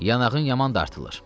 Yanağın yaman dartılır.